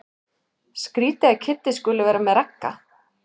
Skrýtið að Kiddi skuli vera með Ragga.